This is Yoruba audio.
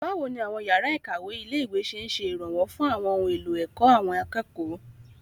Báwo ni àwọn yàrá ìkàwé ilé-ìwé ṣe ń ṣe ìrànwọ́ fún àwọn ohun èlò ẹ̀kọ́ àwọn akẹ́kọ̀ọ́?